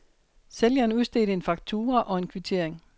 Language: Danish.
Sælgeren udstedte en faktura og en kvittering.